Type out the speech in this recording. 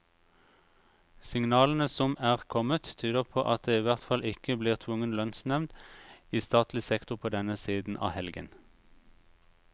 Signalene som er kommet, tyder på at det i hvert fall ikke blir tvungen lønnsnevnd i statlig sektor på denne siden av helgen.